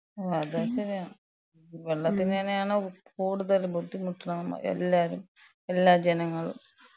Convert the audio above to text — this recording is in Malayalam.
അത് ശരിയാ. വെള്ളത്തിന് തന്നെയാണ് കൂടുതലും ബുദ്ധിമുട്ട്ന്നണത് നമ്മള് എല്ലാരും, എല്ലാ ജനങ്ങളും.